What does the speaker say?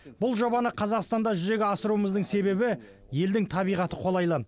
бұл жобаны қазақстанда жүзеге асыруымыздың себебі елдің табиғаты қолайлы